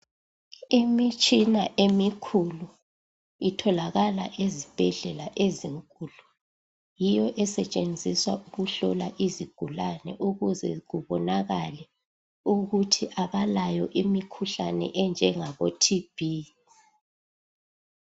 Imitshina emikhulu itholakala ezibhedlela ezinkulu. Yiyo esetshenziswa ukuhlola izigulane ukuze kubonakale ukuthi abalayo imikhuhlane enjengabo-TB.